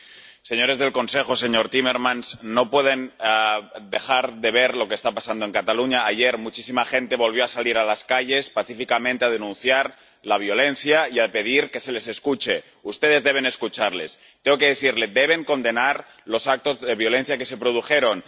Señor presidente, señores del Consejo, señor Timmermans, no pueden dejar de ver lo que está pasando en Cataluña. Ayer, muchísima gente volvió a salir a las calles pacíficamente para denunciar la violencia y para pedir que se les escuche. Ustedes deben escucharles. Tengo que decirle deben condenar los actos de violencia que se produjeron.